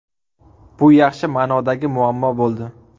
Bu yaxshi ma’nodagi muammo bo‘ldi.